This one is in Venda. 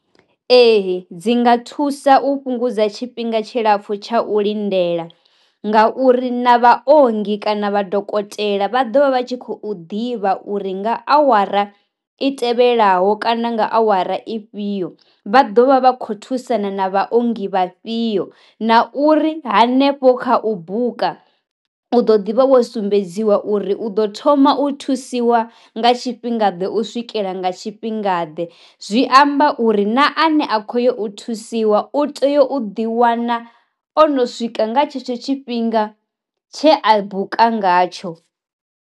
Ee dzi nga thusa u fhungudza tshifhinga tshilapfu tsha u lindela nga uri na vha ongi kana vha dokotela vha ḓovha vha tshi khou ḓivha uri nga awara i tevhelaho kana nga awara i fhio vha ḓovha vha kho thusana na vha ongi vhafhio, na uri hanefho kha u buka u ḓo ḓi vha wo sumbedziwa uri u ḓo thoma u thusiwa nga tshifhinga ḓe u swikela nga tshifhinga ḓe, zwi amba uri na ane a kho yo u thusiwa u tea u ḓi wana o no swika nga tshetsho tshifhinga tshe a buka ngatsho.